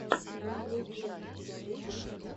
милый джесс у тебя будет